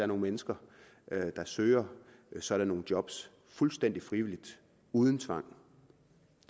nogle mennesker der søger sådan nogle job fuldstændig frivilligt uden tvang